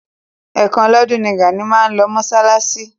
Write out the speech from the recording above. Ẹ̀ kan lọ́dún ni Gàní máa ń lọ mọ́ṣáláṣí.